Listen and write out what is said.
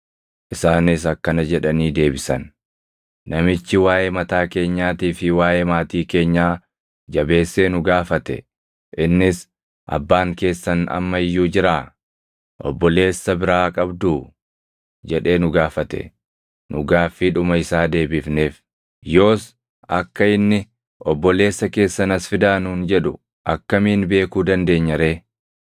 Isaanis akkana jedhanii deebisan; “Namichi waaʼee mataa keenyaatii fi waaʼee maatii keenyaa jabeessee nu gaafate. Innis, ‘Abbaan keessan amma iyyuu jiraa? Obboleessa biraa qabduu?’ jedhee nu gaafate; nu gaaffiidhuma isaa deebifneef. Yoos akka inni, ‘Obboleessa keessan as fidaa’ nuun jedhu akkamiin beekuu dandeenya ree?”